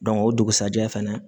o dugusajɛ fana